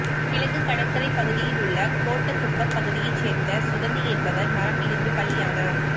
கிழக்கு கடற்சாலை பகுதியில் உள்ள கோட்டகுப்பம் பகுதியை சேர்ந்த சுகந்தி என்பவர் மரம் விழுந்து பலியானார்